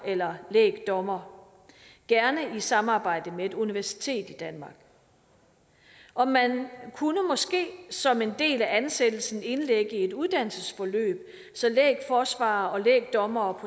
eller lægdommer gerne i samarbejde med et universitet i danmark og man kunne måske som en del af ansættelsen indlægge et uddannelsesforløb så lægforsvarere og lægdommere